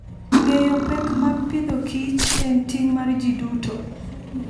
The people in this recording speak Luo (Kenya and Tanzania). Ng'eyo pek mag Agriculture and Fooden ting' mar ji duto.